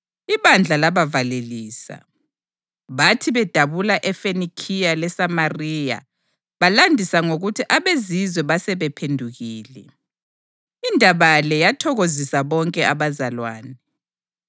Ibandla labavalelisa. Bathi bedabula eFenikhiya leSamariya balandisa ngokuthi abeZizwe basebephendukile. Indaba le yathokozisa bonke abazalwane.